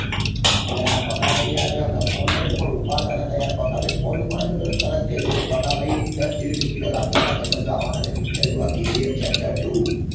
અલ્યા પાકા ભાઈ ને યાર હમણાં કોલ કર્યો પણ ઉપાડતા નતા યાર પાકા ભાઈ ફોન ઉપાડે તો તો તરત કઈ દઉં પાકા ભાઈ દસ જેવી ticket ઓ રાખ જો આપદા ભૈબંદો આવાના છે movie જોવા kgf chapter two